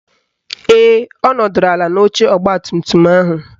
Ee, ọ nọdụrụ ala n'oche ọgbatumtum ahụ